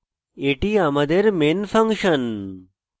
এটি আমাদের main function